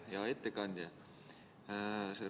Hea ettekandja!